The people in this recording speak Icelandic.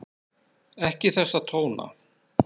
Ekki þessa tóna!